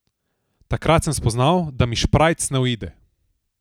Takrat sem spoznal, da mi šprajc ne uide.